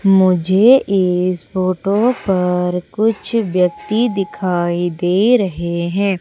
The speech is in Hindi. मुझे इस फोटो पर कुछ व्यक्ति दिखाई दे रहे हैं।